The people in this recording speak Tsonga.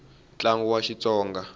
tlangu wa xitsonga